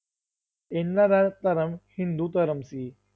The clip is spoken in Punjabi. ਇਹਨਾਂ ਦਾ ਧਰਮ ਹਿੰਦੂ ਧਰਮ ਸੀ।